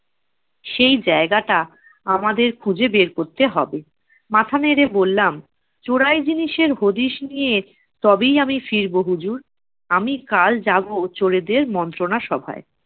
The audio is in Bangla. সেই জায়গাটা আমাদের খুঁজে বের করতে হবে। মাথা নেড়ে বললাম, চোরাই জিনিসের হদিস নিয়ে তবেই আমি ফিরবো হুজুর। আমি কাল যাবো চোরেদের মন্ত্রণা সভায়।